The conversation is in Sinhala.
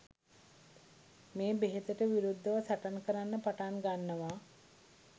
මේ බෙහෙතට විරුද්ධව සටන් කරන්න පටන් ගන්නවා